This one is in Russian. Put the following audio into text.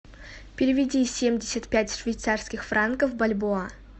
переведи семьдесят пять швейцарских франков в бальбоа